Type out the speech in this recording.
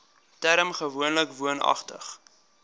term gewoonlik woonagtig